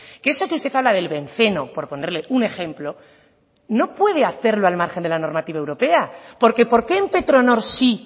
que eso que usted habla del benceno por ponerle un ejemplo no puede hacerlo al margen de la normativa europea porque por qué en petronor sí